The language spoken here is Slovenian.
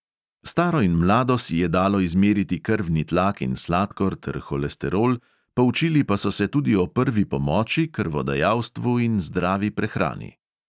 Staro in mlado si je dalo izmeriti krvni tlak in sladkor ter holesterol, poučili pa so se tudi o prvi pomoči, krvodajalstvu in zdravi prehrani.